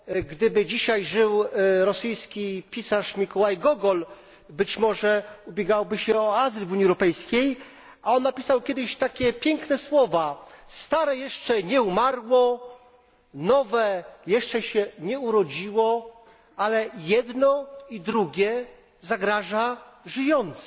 Gdyby dzisiaj żył rosyjski pisarz Mikołaj Gogol, być może ubiegałby się o azyl w Unii Europejskiej, a napisał on kiedyś takie piękne słowa stare jeszcze nie umarło, nowe jeszcze się nie urodziło, ale jedno i drugie zagraża żyjącym.